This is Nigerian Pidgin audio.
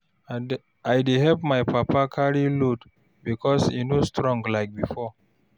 I dey help my papa carry load because e no strong like before.